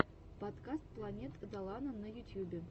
подкаст планет долана на ютьюбе